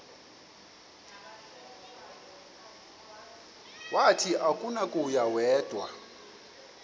wathi akunakuya wedw